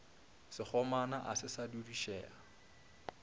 sekgomana a se sa dudišega